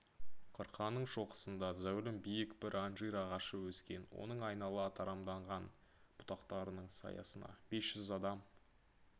қырқаның шоқысында зәулім биік бір анжир ағашы өскен оның айнала тарамданған бұтақтарының саясына бес жүз адам